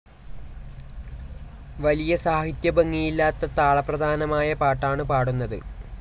വലിയ സാഹിത്യഭംഗിയില്ലാത്ത താളപ്രധാനമായ പാട്ടാണ് പാടുന്നത്.